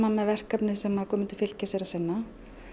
með verkefnið sem Guðmundur Fylkisson er að sinna